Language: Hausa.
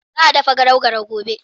Za a dafa garau garau gobe.